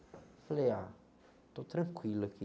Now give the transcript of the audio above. falei, ah, estou tranquilo aqui.